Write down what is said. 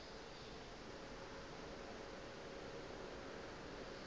e be e le a